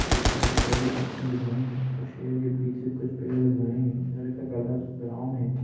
ऊपर हरी कलर की पत्तियां दिख हरी हैं शेर के पीछे कुछ पेड़ दिख रहे है शेर का कलर ब्राउन है।